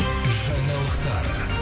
жаңалықтар